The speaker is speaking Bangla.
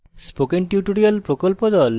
spoken tutorial প্রকল্প the